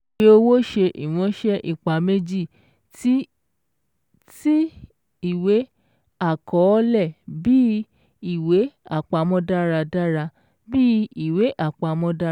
Ìwé owó ṣe ìránṣẹ́ ipa méjì tí ìwé-àkọọ́lẹ̀ bí iwe-àpamó dáradára bí iwe-àpamó dáradára